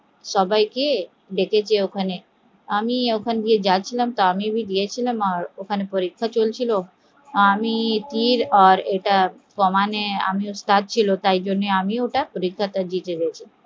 সবাইকে ডেকেছে ওখানে আমি যাচ্ছিলাম আর ওখানে পরীক্ষা চলছিল, আমি তীর আর কামান এ ওস্তাদ ছিলাম তাই আমি পরীক্ষায় জিতে গেছি